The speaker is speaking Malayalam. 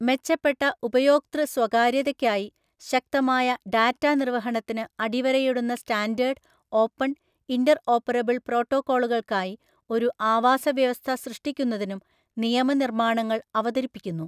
മെച്ചപ്പെട്ട ഉപയോക്തൃ സ്വകാര്യതയ്ക്കായി ശക്തമായ ഡാറ്റ നിർവഹണത്തിന് അടിവരയിടുന്ന സ്റ്റാൻഡേർഡ്, ഓപ്പൺ, ഇന്റർഓപ്പറബിൾ പ്രോട്ടോക്കോളുകൾക്കായി ഒരു ആവാസ വ്യവസ്ഥ സൃഷ്ടിക്കുന്നതിനും നിയമ നിർമാണങ്ങൾ അവതരിപ്പിക്കുന്നു.